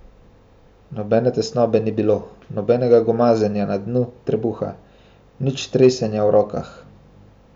Nobene tesnobe ni bilo, nobenega gomazenja na dnu trebuha, nič tresenja v rokah.